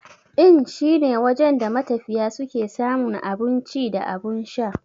Inn shine wajen da matafiya suke samun abun ci da abun sha.